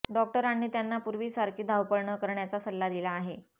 डॉक्टरांनी त्यांना पूर्वीसारखी धावपळ न करण्याचा सल्ला दिला आहे